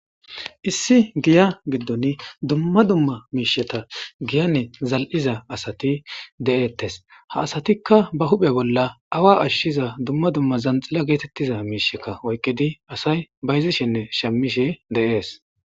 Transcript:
issi giya giddon dumma dumma miisheta giyane zal'iza asati de7ettes ha asatikka ba huphe bolla awa ashshiza dumma dumma zanxila geetettiza miishekka oykkedi asay bayzishenne shemmishe de'ees.